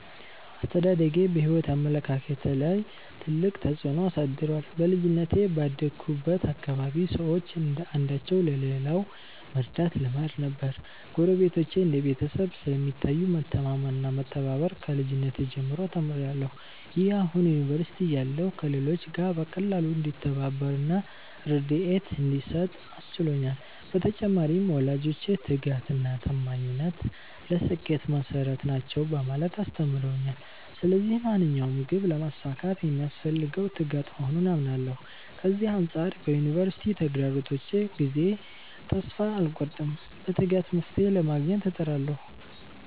አስተዳደጌ በሕይወት አመለካከቴ ላይ ትልቅ ተጽዕኖ አሳድሯል። በልጅነቴ ባደግሁበት አካባቢ ሰዎች አንዳቸው ለሌላው መርዳት ልማድ ነበር። ጎረቤቶች እንደ ቤተሰብ ስለሚታዩ፣ መተማመን እና መተባበር ከልጅነቴ ጀምሮ ተምሬያለሁ። ይህ አሁን ዩኒቨርሲቲ እያለሁ ከሌሎች ጋር በቀላሉ እንድተባበር እና ርድኤት እንድሰጥ አስችሎኛል። በተጨማሪም፣ ወላጆቼ 'ትጋት እና ታማኝነት ለስኬት መሠረት ናቸው' በማለት አስተምረውኛል። ስለዚህ ማንኛውንም ግብ ለማሳካት የሚያስፈልገው ትጋት መሆኑን አምናለሁ። ከዚህ አንጻር በዩኒቨርሲቲ ተግዳሮቶች ጊዜ ተስፋ አልቆርጥም፤ በትጋት መፍትሔ ለማግኘት እጥራለሁ።